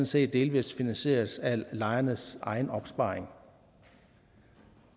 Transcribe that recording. set delvis finansieres af lejernes egen opsparing